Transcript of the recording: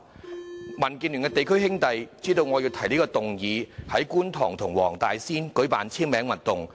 民主建港協進聯盟的地區"兄弟"知道我要提出這項議案後，在觀塘和黃大仙區舉辦簽名運動。